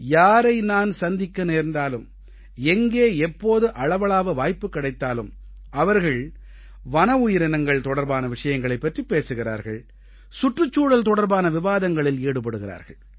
யாரை நான் சந்திக்க நேர்ந்தாலும் எங்கே எப்போது அளவளாவ வாய்ப்பு கிடைத்தாலும் அவர்கள் வன உயிரினங்கள் தொடர்பான விஷயங்களைப் பற்றிப் பேசுகிறார்கள் சுற்றுச்சூழல் தொடர்பான விவாதங்களில் ஈடுபடுகிறார்கள்